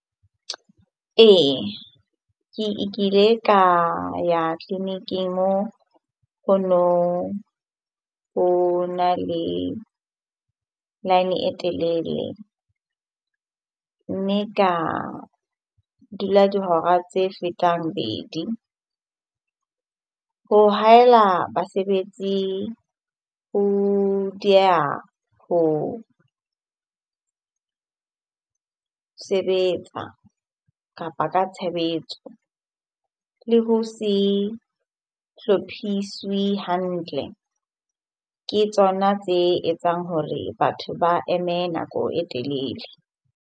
Ee, ke kile ka ya tleliniking ho noho na le line e telele mme ka dula dihora tse fetang bedi. Ho haela basebetsi ho dieha ho sebetsa kapa ka tshebetso. Le ho se hlophiswe hantle ke tsona tse etsang hore batho ba eme nako e telele